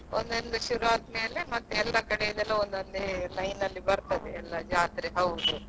ಅಲ್ಲಿ ಇಲ್ಲಿದು ಜಾತ್ರೆ ಒಂದೊಂದೇ ಶುರು ಆದ್ಮೇಲೆ ಎಲ್ಲಾ ಕಡೆದು ಒಂದೊಂದೇ line ಅಲ್ಲಿ ಬರ್ತದೆ ಎಲ್ಲಾ ಜಾತ್ರೆ.